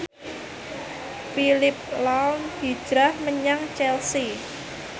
Phillip lahm hijrah menyang Chelsea